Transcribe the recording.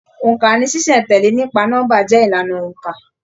Óńka ní ṣiṣẹ̀-n-tẹle nípa nọmba jẹ ìlànà óńka.